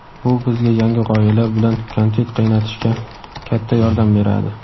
Bu bizga yangi g‘oyalar bilan kontent qaynatishga katta yordam beradi!.